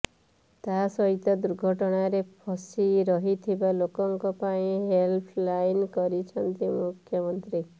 ତା ସହିତ ଦୁର୍ଘଟଣାରେ ଫସି ରହିଥିବା ଲୋକଙ୍କ ପାଇଁ ହେଲ୍ପ୍ ଲାଇନ୍ କରିଛନ୍ତି ମୁଖ୍ୟମନ୍ତ୍ରୀ